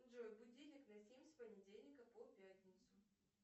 джой будильник на семь с понедельника по пятницу